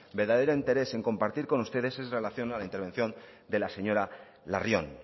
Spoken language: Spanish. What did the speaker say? verdadero interés en compartir con ustedes es en relación a la intervención de la señora larrion